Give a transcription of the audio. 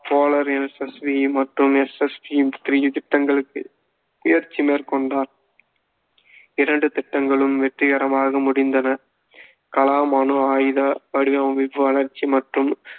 polar SSV மற்றும் SSV புதிய திட்டங்களுக்கு முயற்சி மேற்கொண்டார் இரண்டு திட்டங்களும் வெற்றிகரமாக முடிந்தன கலாம் அணு ஆயுத வடிவமைப்பு வளர்ச்சி மற்றும்